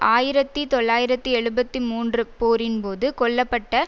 ஆயிரத்தி தொள்ளாயிரத்தி எழுபத்தி மூன்று போரின்போது கொல்ல பட்ட